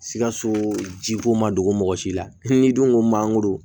Sikaso jiko ma dogo mɔgɔ si la n'i dun ko mangoro